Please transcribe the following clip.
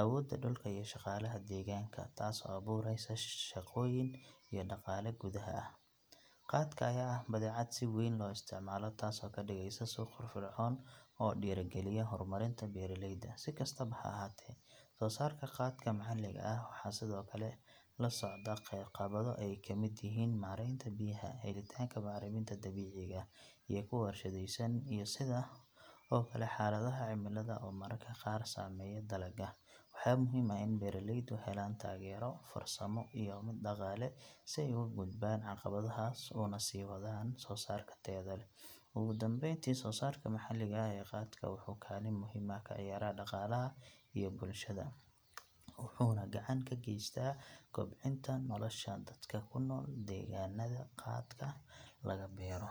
awooda dhulka iyo shaqaalaha deegaanka, taasoo abuureysa shaqooyin iyo dhaqaale gudaha ah. Qaadka ayaa ah badeecad si weyn loo isticmaalo, taasoo ka dhigaysa suuq firfircoon oo dhiirrigeliya horumarinta beeralayda. Si kastaba ha ahaatee, soosaarka qaadka maxalliga ah waxaa sidoo kale la socda caqabado ay ka mid yihiin maaraynta biyaha, helitaanka bacriminta dabiiciga ah iyo kuwa warshadaysan, iyo sidoo kale xaaladaha cimilada oo mararka qaar saameeya dalagga. Waxaa muhiim ah in beeralaydu helaan taageero farsamo iyo mid dhaqaale si ay uga gudbaan caqabadahaas una sii wadaan soosaarka tayada leh. Ugu dambeyntii, soosaarka maxalliga ah ee qaadka wuxuu kaalin muhiim ah ka ciyaaraa dhaqaalaha iyo bulshada, wuxuuna gacan ka geystaa kobcinta nolosha dadka ku nool deegaanada qaadka laga beero.